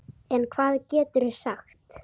En hvað geturðu sagt?